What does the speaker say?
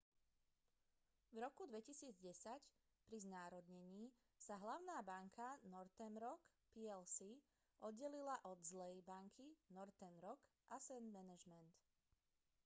v roku 2010 pri znárodnení sa hlavná banka northern rock plc oddelila od zlej banky northern rock asset management